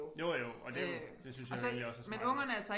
Jo jo og det jo det synes jeg jo egentlig også er smart nok